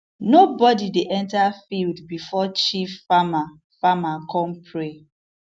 nobody dey enter field before chief farmer farmer come pray